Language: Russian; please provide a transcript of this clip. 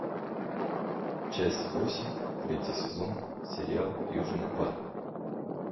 часть восемь третий сезон сериал южный парк